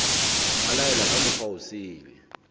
a laela ka mokgwa osele